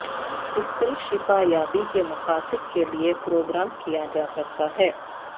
crystal شفا یابی کے مقاصد کے لئے پروگرام کیا جا سکتا ہے